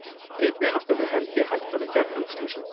einnig er alltaf fyrir hendi hættan á kjarnorkuslysum